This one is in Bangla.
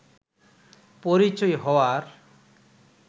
পরিচয় হওয়ার